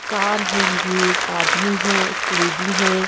Car हैं गई एक आदमी है एक लेडी है।